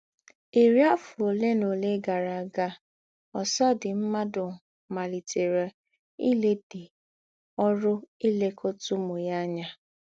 Ìrí àfọ̀ òlé nà òlé gárà ága, ǒsọ̀̀dí mmádụ màlítèrè ìlèdà ọ́rụ̀ ílèkọ̀tà ǔmū ányà.